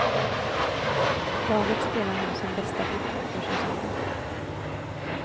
Laget spelar nu sin bästa fotboll för säsongen.